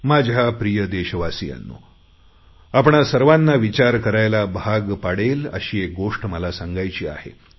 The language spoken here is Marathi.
माझ्या प्रिय देशवासियांनो आपणा सर्वांना विचार करायला भाग पाडेल अशी एक गोष्ट मला सांगायची आहे